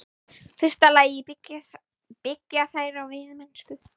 fyrsta lagi byggja þær á veiðimennsku.